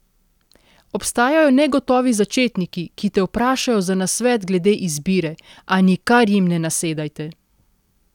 Obstajajo negotovi začetniki, ki te vprašajo za nasvet glede izbire, a nikar jim ne nasedajte!